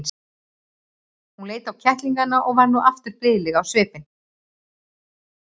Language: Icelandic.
Hún leit á kettlingana og varð nú aftur blíðleg á svipinn.